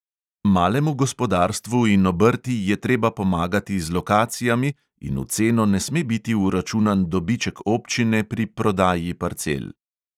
Malemu gospodarstvu in obrti je treba pomagati z lokacijami in v ceno ne sme biti vračunan dobiček občine pri prodaji parcel.